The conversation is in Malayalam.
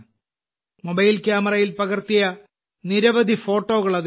മൊബൈൽ ക്യാമറയിൽ പകർത്തിയ നിരവധി ഫോട്ടോകൾ അതിലുണ്ട്